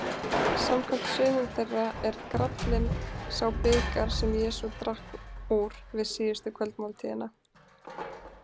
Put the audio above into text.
Samkvæmt sumum þeirra er gralinn sá bikar sem Jesús drakk úr við síðustu kvöldmáltíðina.